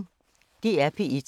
DR P1